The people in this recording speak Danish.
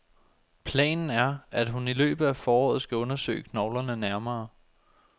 Planen er, at hun i løbet af foråret skal undersøge knoglerne nærmere.